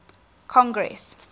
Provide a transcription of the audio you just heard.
congress